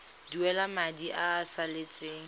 duela madi a a salatseng